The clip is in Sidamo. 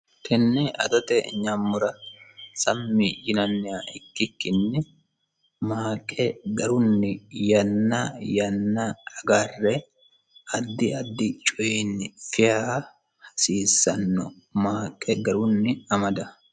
tenne adote nyammora sammi yinanniha ikkikkinni maaqe garunni yanna yanna agarre addi addi coyini fiya hasiissanno maaqe garunni amada